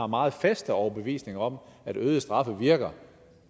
meget fast overbevisning om at øget straf virker